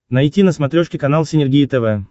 найти на смотрешке канал синергия тв